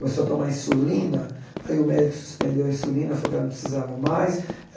Começou a tomar insulina, aí o médico suspendeu a insulina, falou que ela não precisava mais.